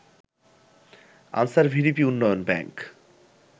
answer VDP উন্নয়ন bank